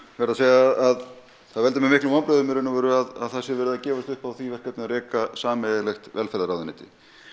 verð að segja það að það veldur mér miklum vonbrigðum í raun og veru að það sé verið að gefast upp á því að reka sameiginlegt velferðarráðuneyti